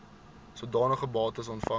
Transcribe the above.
sodanige bates ontvang